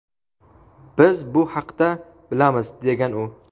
Biz bu haqda bilamiz, degan u.